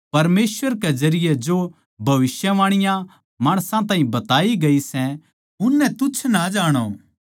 परमेसवर के जरिये जो भविष्यवाणीयाँ माणसां ताहीं बताई गई सै उननै तुच्छ ना जाणो